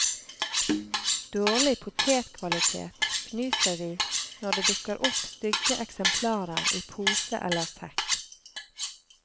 Dårlig potetkvalitet, fnyser vi, når det dukker opp stygge eksemplarer i pose eller sekk.